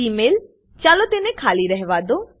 Email- ચાલો તેને ખાલી રહેવાદો